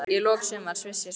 Í lok sumars vissi ég svarið.